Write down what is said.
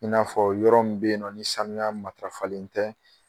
I n'a fɔ yɔrɔ min be yen nɔ ni sanuya matarafalen tɛ